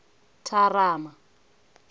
thamara